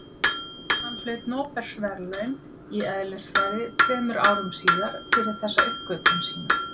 hann hlaut nóbelsverðlaun í eðlisfræði tveimur árum síðar fyrir þessa uppgötvun sína